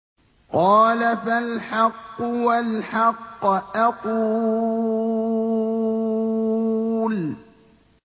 قَالَ فَالْحَقُّ وَالْحَقَّ أَقُولُ